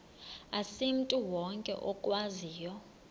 asimntu wonke okwaziyo